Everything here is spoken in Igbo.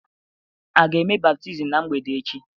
A ga-eme baptizim ná mgbede echi?